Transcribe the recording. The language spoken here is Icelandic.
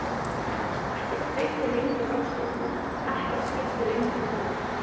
Ekkert kveikti lengur ástríðu mína, ekkert skipti lengur máli.